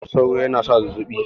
Ciwon sauro yana sa zazzabi